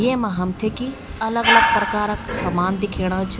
येमा हमथे की अलग अलग प्रकार क सामान दिखेणा छ।